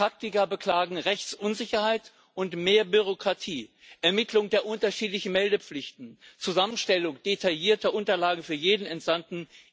Praktiker beklagen Rechtsunsicherheit und mehr Bürokratie, die Ermittlung der unterschiedlichen Meldepflichten, die Zusammenstellung detaillierter Unterlagen für jeden Entsandten.